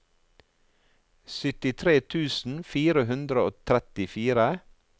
syttitre tusen fire hundre og trettifire